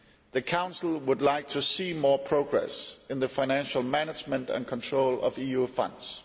The Council would like to see more progress in the financial management and control of EU funds.